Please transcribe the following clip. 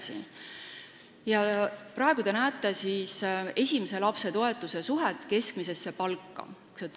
Sellel joonisel te näete esimese lapse toetuse suhet keskmisesse palka.